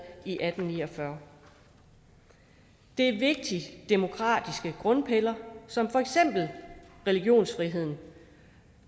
i atten ni og fyrre det er vigtige demokratiske grundpiller som for eksempel religionsfrihed